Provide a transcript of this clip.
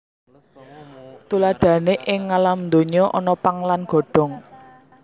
Tuladhané ing ngalam donya ana pang lan godhong